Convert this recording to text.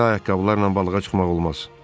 Belə ayaqqabılarla balığa çıxmaq olmaz.